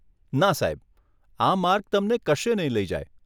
ના સાહેબ, આ માર્ગ તમને કશે નહીં લઇ જાય.